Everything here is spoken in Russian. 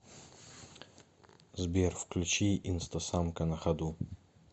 сбер включи инстасамка на ходу